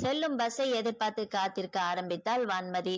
செல்லும் bus ஐ எதிர்பார்த்து காத்திருக்க ஆரம்பித்தால் வான்மதி